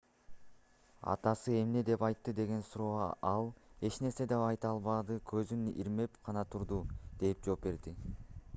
атасы эмне деп айтты деген суроого ал эч нерсе деп айта албады көзүн ирмеп гана турду - деп жооп берди